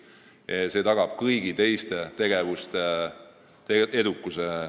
See tagab Eestis ka kõigi teiste tegevuste edukuse.